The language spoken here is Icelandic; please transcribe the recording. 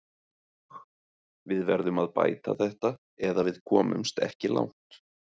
Við verðum að bæta þetta eða við komumst ekki langt